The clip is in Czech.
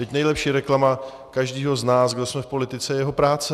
Vždyť nejlepší reklama každého z nás, kdo jsme v politice, je jeho práce.